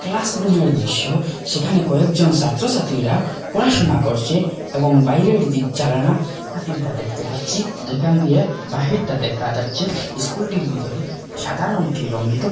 ক্লাসরুমের দৃশ্য সেখানে কয়েকজন সাত্রসাত্রীরা পড়াশুনা করছে এবং বাইরের দিক জালানা হাতিমটা দেখতে পাচ্ছি যেখান দিয়ে বাহিরটা দেখা যাচ্ছে স্কুলটির ভিতরে সাদা রংটি রঙ্গিত।